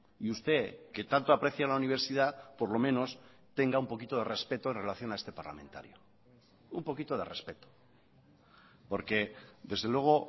y usted que tanto aprecia la universidad por lo menos tenga un poquito de respeto en relación a este parlamentario un poquito de respeto porque desde luego